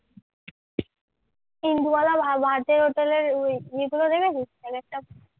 ইন্দুবালা ভা ভাতের হোটেলের ওই ইগুলো দেখেছিস এক একটা